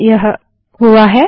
हाँ यह हुआ